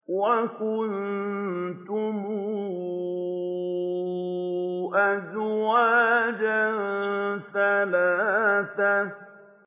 وَكُنتُمْ أَزْوَاجًا ثَلَاثَةً